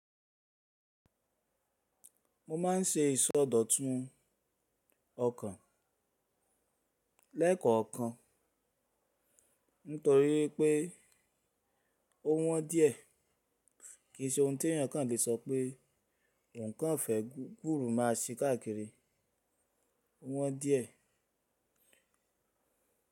Mo ma n ṣe ìsọdọ̀tun ọkàn lẹ́ẹ̀kan kan nítorí pé ó wọ́n díẹ̀. Kì í ṣe ohun tó eyan kan lè sọ pé ohun kan fẹ́ gburu má a ṣí káàkiri. Ó wọ́n díẹ̀.